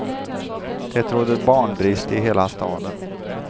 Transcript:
Det råder barnbrist i hela staden.